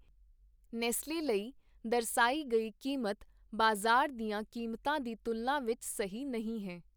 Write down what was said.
Nestle ਲਈ ਦਰਸਾਈ ਗਈ ਕੀਮਤ ਬਾਜ਼ਾਰ ਦੀਆਂ ਕੀਮਤਾਂ ਦੀ ਤੁਲਨਾ ਵਿੱਚ ਸਹੀ ਨਹੀਂ ਹੈ।